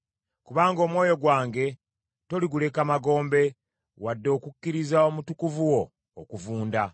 Kubanga omwoyo gwange toliguleka magombe, wadde okukkiriza Omutukuvu wo okuvunda.